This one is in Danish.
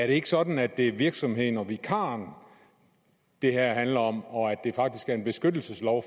ikke sådan at det er virksomheden og vikaren det her handler om og at det faktisk er en beskyttelseslov